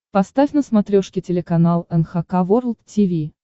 поставь на смотрешке телеканал эн эйч кей волд ти ви